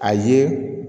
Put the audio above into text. A ye